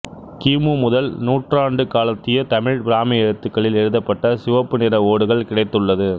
கிமு முதல் நூற்றாண்டுக் காலத்திய தமிழ் பிராமி எழுத்துக்களில் எழுதப்பட்ட சிவப்பு நிற ஓடுகள் கிடைத்துள்ளது